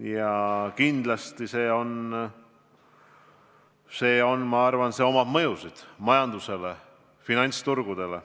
Ja kindlasti avaldab see mõju ka majandusele, finantsturgudele.